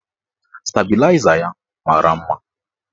Stabịlaịza ya mara mma.